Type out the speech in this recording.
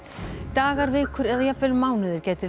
dagar vikur eða jafnvel mánuðir gætu